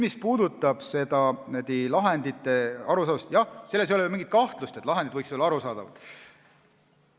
Mis puudutab lahendite arusaadavust, siis jah, ei ole ju mingit kahtlust, et lahendid võiksid olla arusaadavad.